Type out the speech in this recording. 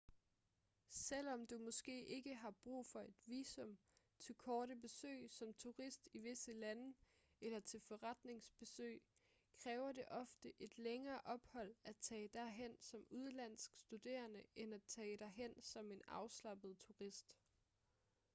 selvom du måske ikke har brug for et visum til korte besøg som turist i visse lande eller til forretningsbesøg kræver det ofte et længere ophold at tage derhen som udenlandsk studerende end at tage derhen som en afslappet turist